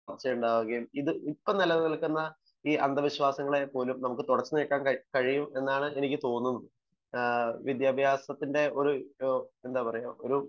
ഉണ്ടാവുകയും ഇപ്പം നില നിൽക്കുന്ന അന്ധവിശ്വാസങ്ങളെപോലും നമുക്ക് തുടച്ചു നീക്കാൻ കഴിയും എന്നാണ് എനിക്ക് തോന്നുന്നത്